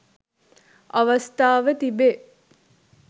අවස්ථාව තිබේ.